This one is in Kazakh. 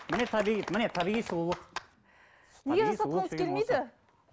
міне табиғи міне табиғи сұлулық